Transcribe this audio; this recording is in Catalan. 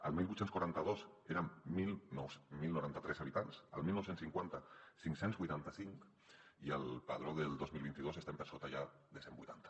el divuit quaranta dos érem deu noranta tres habitants el dinou cinquanta cinc cents i vuitanta cinc i al padró del dos mil vint dos estem per sota ja de cent i vuitanta